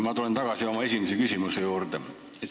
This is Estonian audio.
Ma tulen tagasi oma esimese küsimuse juurde.